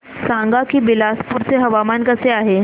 सांगा की बिलासपुर चे हवामान कसे आहे